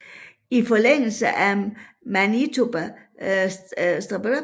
I forlængelse fik Manitoba status af Canadas femte provins